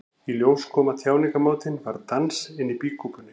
Í ljós kom að tjáningarmátinn var dans inni í býkúpunni.